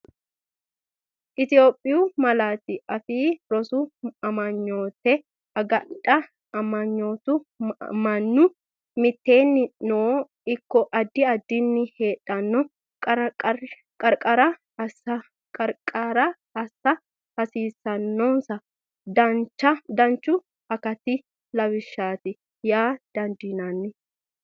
Itophiyu Malaatu Afii Roso Amanyoote Agadha Amanyootu mannu mitteennino ikko addi addinni heedhanno qarqarira assa hasiissannonsa danchu akati lawishshaati yaa dandiinanni.